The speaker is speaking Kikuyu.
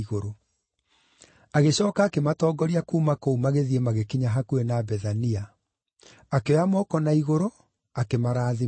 Agĩcooka akĩmatongoria kuuma kũu magĩthiĩ magĩkinya hakuhĩ na Bethania; akĩoya moko na igũrũ, akĩmarathima.